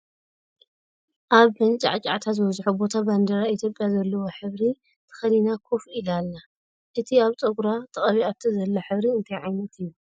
ኣብ መንጨሕጫሕታ ዝበዘሖ ቦታ ባንዴራ ኢትዮጵያ ዘለዎ ሕብሪ ተከዲና ኮፍ ኢላ ኣላ። እቲ ኣብ ፀጉራ ተቀቢኣቶ ዘላ ሕብሪ እንታይ ዓይነት እዩ ?